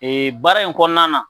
Ee baara in kɔnɔna na